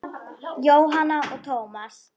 Jóhanna og Tómas.